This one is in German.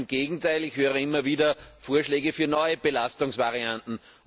Ganz im Gegenteil, ich höre immer wieder Vorschläge für neue Belastungsvarianten.